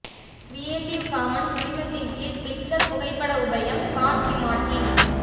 creative Commons உரிமத்தின் கீழ் Flickr புகைப்பட உபயம் ஸ்காட் கிம்மார்டின்